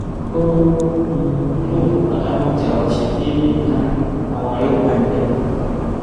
ó um lóun kò bá támán jà ó ṣẹbi um àwọn ọrẹ òun wà níbẹ